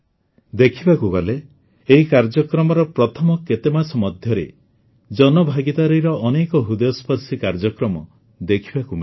ଦେଖିବାକୁ ଗଲେ ଏହି କାର୍ଯ୍ୟକ୍ରମର ପ୍ରଥମ କେତେମାସ ମଧ୍ୟରେ ଜନଭାଗିଦାରୀର ଅନେକ ହୃଦୟସ୍ପର୍ଶୀ କାର୍ଯ୍ୟକ୍ରମ ଦେଖିବାକୁ ମିଳିଲା